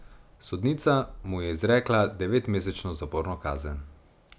Sodnica mu je izrekla devetmesečno zaporno kazen.